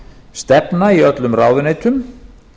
stefna í öllum ráðuneytum